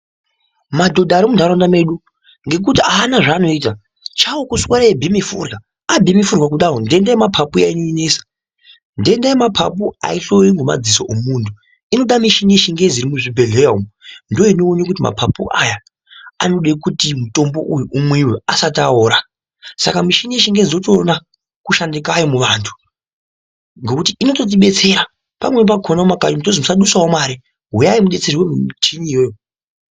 Madhodha ari munharaunda medu ngekuti aana zvaanoita chawo kuswera eibhema forya abheme forya kudaro nhenda yemapapu iya inonesa ,nhenda yemapapu aihloyiwi ngemadziso omunhu inoda mishini yechingezi iri muzvibhehleya umu ndiyo inoone kuti mapapu aya anode kuti mutombo uyu umwiwe asati aora saka mishini yechingezi tinotona kushanda kwayo muvantu ngokuti inototibetsera pamweni pakona mumakanyi umu tozwi musadusawo mare uyai mudetserwe ngemichiniyoyo.